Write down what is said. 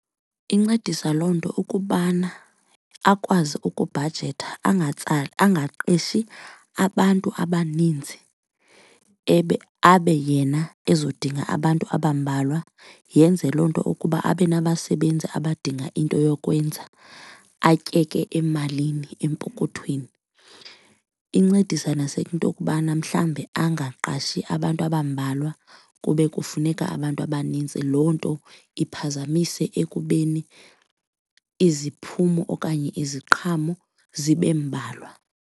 Incedisa loo nto ukubana akwazi ukubhajetha angaqeshi abantu abaninzi ebe abe yena ezodinga abantu abambalwa, yenze loo nto ukuba abe nabasebenzi abadinga into yokwenza atyeke emalini empokothweni. Incedisa nasentokubana mhlawumbi angaqashi abantu abambalwa kube kufuneka abantu abanintsi, loo nto iphazamise ekubeni iziphumo okanye iziqhamo zibe mbalwa.